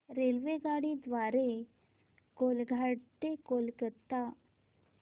रेल्वेगाडी द्वारे कोलाघाट ते कोलकता